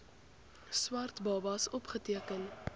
swart babas opgeteken